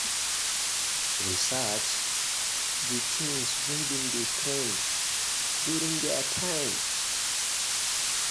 research di things wey been dey trend during their time